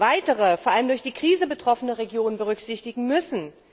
weitere, vor allem durch die Krise betroffene Regionen berücksichtigen müssen.